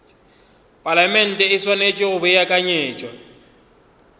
palamente o swanetše go beakanyetša